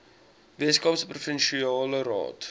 weskaapse provinsiale raad